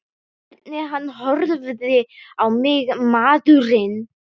Hvernig hann horfði á mig, maðurinn!